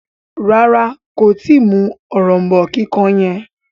ràrá kò tí mú òrombó kíkàn yen.